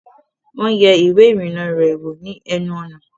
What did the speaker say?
Wọ́n yẹ ìwẹ́ ìrìnnà rẹ̀ wò ni ẹnu ọ̀nà